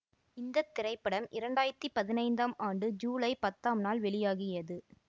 இந்த திரைப்படம் இரண்டாயிரத்தி பதினைந்தாம் ஆண்டு ஜூலை பத்தாம் நாள் வெளியாகியது